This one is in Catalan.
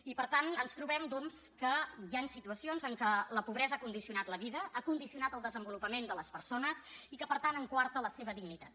i per tant ens trobem doncs que hi han situacions en què la pobresa ha condicionat la vida ha condicionat el desenvolupament de les persones i que per tant en coarta la seva dignitat